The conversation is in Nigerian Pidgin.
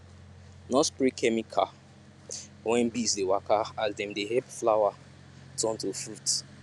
no spray chemical when bees dey waka as dem dey help flower turn to fruit